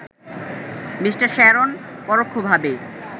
Me. Sharon পরোক্ষভাবে